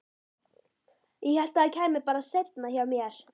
Ég hélt að það kæmi bara seinna hjá mér.